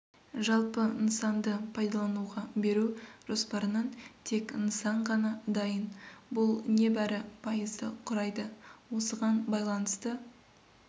жалпы нысанды пайдалануға беру жоспарынан тек нысан ғана дайын бұл не бәрі пайызды құрайды осыған байланысты